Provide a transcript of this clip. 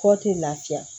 Kɔ tɛ lafiya